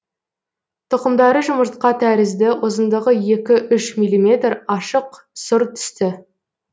тұқымдары жұмыртқа тәрізді ұзындығы екі үш миллиметр ашық сұр түсті